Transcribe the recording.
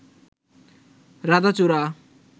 রাধাচূড়া